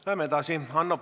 Läheme edasi!